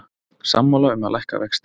Sammála um að lækka vexti